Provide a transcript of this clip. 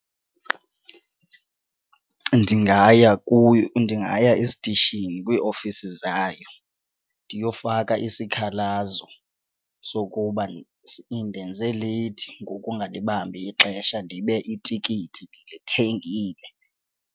Ndingaya kuyo ndingaya esitishini kwiiofisi zayo ndiyofaka isikhalazo sokuba indenze leyithi ngokungalibambi ixesha ndibe itikiti ndilithengile.